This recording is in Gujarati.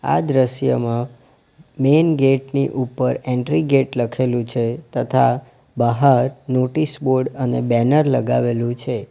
આ દ્રશ્યમાં મેઈન ગેટ ની ઉપર એન્ટ્રી ગેટ લખેલું છે તથા બહાર નોટિસ બોર્ડ અને બેનર લગાવેલું છે.